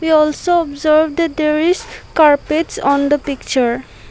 we also observed that there is carpets on the picture.